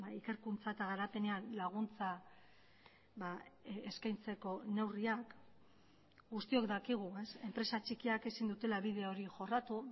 ikerkuntza eta garapenean laguntza eskaintzeko neurriak guztiok dakigu enpresa txikiak ezin dutela bide hori jorratu